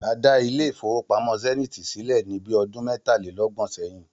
A dá ilé ìfowópamó̩ Sé̩níìtì sílè̩ ní bí o̩dún mé̩tàléló̩gbò̩n sé̩yìn